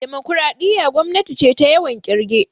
Demokaraɗiya gwamnati ce ta yawan kirge